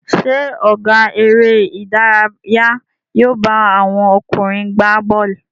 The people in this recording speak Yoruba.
Ṣé ọ̀gá eré-idárayá yóò bá àwọn ọkùnrin gbá bọ́ọ́lù?